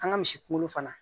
An ka misi kunkolo fana